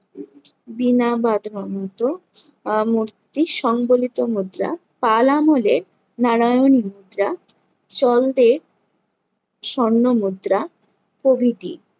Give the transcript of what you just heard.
আহ মূর্তির সংবলিত মুদ্রা, পাল আমলের নারায়ণী মুদ্রা, চল্দের স্বর্ণ মুদ্রা প্রভৃতির